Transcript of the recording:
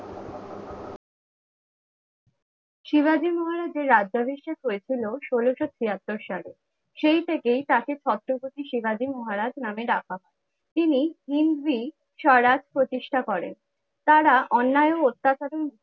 শিবাজী মহারাজের রাজ্যাভিষেক হয়েছিল ষোলোশো ছিয়াত্তর সালে। সেই থেকে তাকে ছত্রপতি শিবাজী মহারাজ নামে ডাকা হতো। তিনি হিন্দি স্বরাজ প্রতিষ্ঠা করেন। তারা অন্যায় ও অত্যাচারে